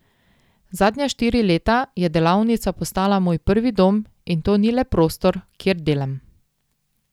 Zadnja štiri leta je delavnica postala moj prvi dom in to ni le prostor, kjer delam.